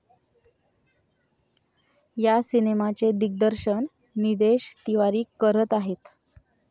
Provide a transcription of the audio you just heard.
या सिनेमाचे दिग्दर्शन निदेश तिवारी करत आहेत.